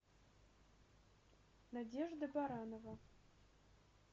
надежда баранова